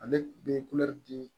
Ale bɛ di